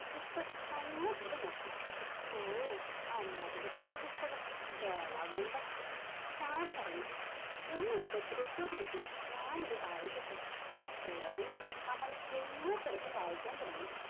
നല്ല പോലെ നോക്കി, ഓ മന്മദത്തിന്റെ പുസ്തകം ഗളകണ്ടം. ചാരു പറഞ്ഞു, എന്നെ ഉപദ്രവിക്കാതിരിക്കുക ഞാനിത് വായിക്കട്ടെ. പുറകിൽ നിന്ന് അമൽ ദയനീയ സ്വരത്തിൽ വായിക്കാൻ തുടങ്ങി.